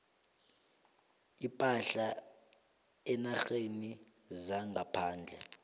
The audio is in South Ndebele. ipahla eenarheni zangaphandle